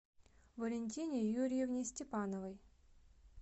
валентине юрьевне степановой